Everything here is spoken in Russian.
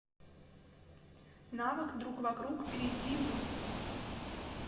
навык другвокруг перейди в